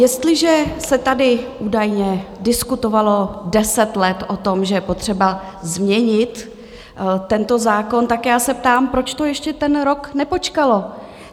Jestliže se tady údajně diskutovalo deset let o tom, že je potřeba změnit tento zákon, tak já se ptám, proč to ještě ten rok nepočkalo?